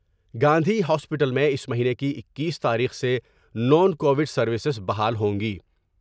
Gandhi hospital میں اس مہینے کی اکیس تاریخ سے نان کو وڈ سرویسیں بحال ہوں گی ۔